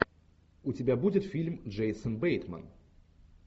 у тебя будет фильм джейсон бейтман